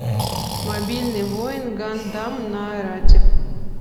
мобильный воин гандам нарратив